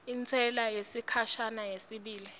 intsela yesikhashana yesibili